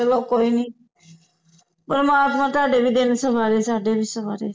ਚਲੋ ਕੋਈ ਨੀ ਪਰਮਾਤਮਾ ਤੁਹਾਡੇ ਵੀ ਦਿਨ ਸਵਾਰੇ ਸਾਡੇ ਵੀ ਸਵਾਰੇ